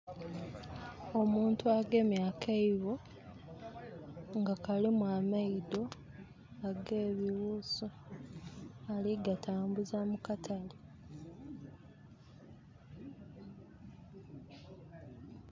Omuntu agemye akaibo nga kalimu amaido ag'ebiwusu. Ali gatambuza mu katale.